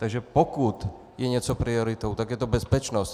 Takže pokud je něco prioritou, tak je to bezpečnost.